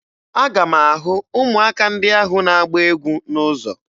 Aga m ahụ ụmụaka ndị ahụ na-agba egwu n'ụzọ